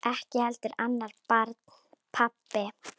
Ekki heldur annarra barna pabbi.